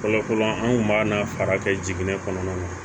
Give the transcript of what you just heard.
Fɔlɔ fɔlɔ an kun b'a fara kɛ jiginɛ kɔnɔna na